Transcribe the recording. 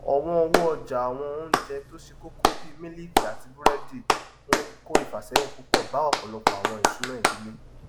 ọwọn owó ọjà àwọn oúnjẹ tó ṣe kókó bí mílíìkì àti búrẹdì ńko ìfàsẹyìn púpọ bá ọpọlọpọ àwọn ìṣúná ìdílé